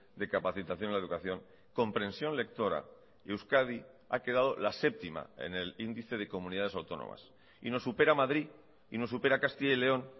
de capacitación en la educación comprensión lectora euskadi ha quedado la séptima en el índice de comunidades autónomas y nos supera madrid y nos supera castilla y león